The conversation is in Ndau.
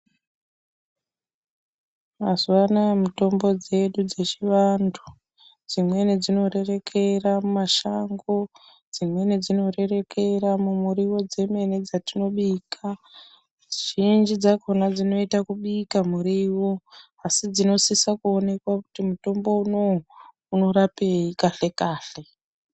Mazuva anaya mitombo dzedu dzechiantu dzimweni dzinorerekera kumashango, dzimweni dzinorerekera mumuriwo dzimweni dzetinobika, zhinji dzakhona dzinoita kubika muriwo asi dzinosisa kuonekwa kuti mutombo unowu unorapei kahle-kahle.